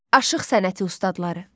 Aşıq sənəti ustadları.